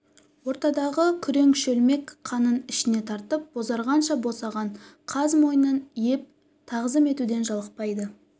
ортадағы күрең шөлмек қанын ішіне тартып бозарғанша босаған қаз мойынын иңп тағзым етуден жалықпайды